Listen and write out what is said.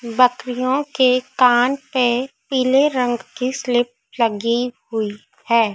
बकरियों के कान पे पीले रंग की स्लिप लगी हुई है।